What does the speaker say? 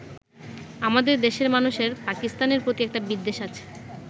আমাদের দেশের মানুষের পাকিস্তানের প্রতি একটা বিদ্বেষ আছে।